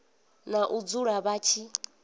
na u dzula vha tshi